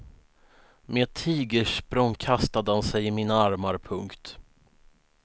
Med ett tigersprång kastade han sig i mina armar. punkt